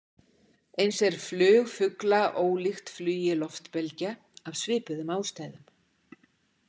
Eins er flug fugla ólíkt flugi loftbelgja, af svipuðum ástæðum.